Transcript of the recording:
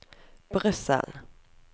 Brussel